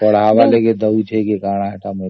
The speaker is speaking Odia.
ପଢାଇବା ପାଇଁ ଦେଉଛି କି କଣ ଜାଣିନି